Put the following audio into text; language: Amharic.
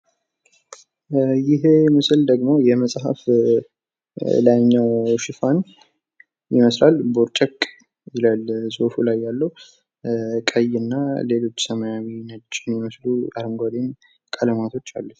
ይሄ ምስል ደግሞ የመጽሃፍ ላይኛው ሽፋን ይመስላል። ቦርጨቅ ይላል ጽሁፉ ላይ ያለው። ቀይ እና ሌሎች ሰማያዊ የሚመስሉ አረንጓዴም ቀለማቶች አሉት።